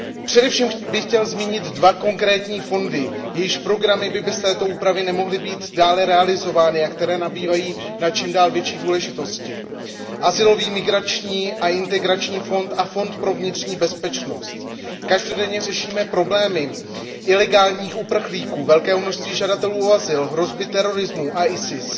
Především bych chtěl zmínit dva konkrétní fondy, jejichž programy by bez této úpravy nemohly být dále realizovány a které nabývají na stále větší důležitosti Azylový, migrační a integrační fond a Fond pro vnitřní bezpečnost. Každodenně řešíme problémy ilegálních uprchlíků, velkého množství žadatelů o azyl, hrozby terorismu a ISIS